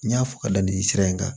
N y'a fɔ ka da nin sira in kan